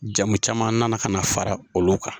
Jamu caman nana ka na fara olu kan